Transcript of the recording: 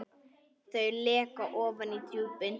Þau leka ofan í djúpin.